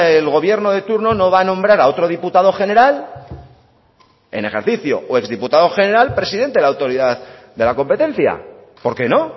el gobierno de turno no va a nombrar a otro diputado general en ejercicio o exdiputado general presidente de la autoridad de la competencia por qué no